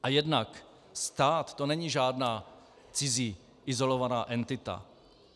A jednak stát, to není žádná cizí izolovaná entita.